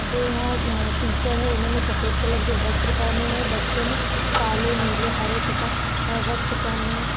जो यहाँ टीचर है उन्होंने सफेद कलर की वस्त्र पहने है बच्चों ने काले नीले हरे तथा वस्त्र पहने है।